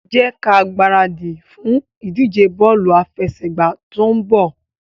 Jẹ́ kí a gbáradì fún ìdíje bọ́ọ̀lù àfẹsẹ̀gbá tó ń bọ̀.